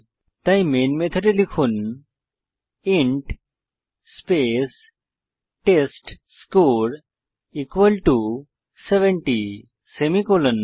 তাই মেন মেথডে লিখুন ইন্ট স্পেস টেস্টস্কোর 70 সেমিকোলন